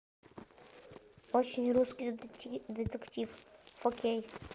очень русский детектив фо кей